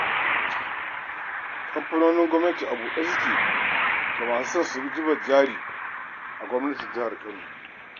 Ƙamfanonin gwamnati a buɗe suke ga masu son su zuba jari a Gwamnatin jihar Kano.